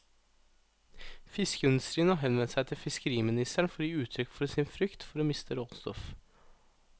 Fiskeindustrien har henvendt seg til fiskeriministeren for å gi uttrykk for sin frykt for å miste råstoff.